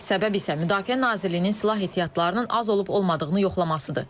Səbəb isə Müdafiə Nazirliyinin silah ehtiyatlarının az olub-olmadığını yoxlamasıdır.